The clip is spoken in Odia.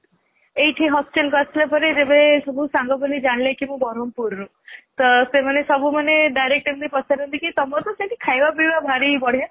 ଏଇଠି hostel କୁ ଆସିଲା ପରେ ଯେବେ ସବୁ ସାଙ୍ଗ ଜାଣିଲେ କି ମୁଁ ବ୍ରହ୍ମପୁରରୁ ତ ସେମାନେ ସବୁ ମାନେ direct ଏମିତି ପଚାରନ୍ତି କି ତମର ତ ସେଇଠି ଖାଇବା ପିବା ଭାରି ବଢିୟା